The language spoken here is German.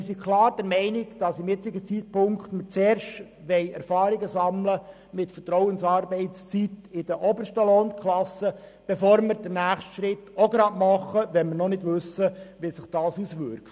Wir sind klar der Meinung, dass zum jetzigen Zeitpunkt zuerst Erfahrungen mit der Vertrauensarbeitszeit in den obersten Lohnklassen gesammelt werden sollen, bevor wir den nächsten Schritt machen, ohne zu wissen, wie sie sich auswirkt.